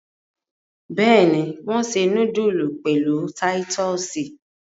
Bẹ́ẹ̀ni, wọ́n se núdúlù pẹ̀lú títọ́sì.